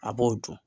A b'o dun